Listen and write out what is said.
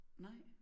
Nej